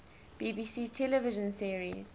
bbc television series